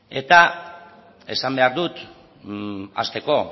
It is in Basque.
ezta eta esan behar dut hasteko